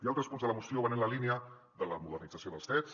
i altres punts de la moció van en la línia de la modernització dels fets